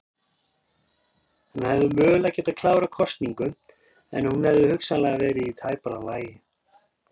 Hann hefði mögulega getað klárað kosningu en hún hefði hugsanlega verið í tæpara lagi.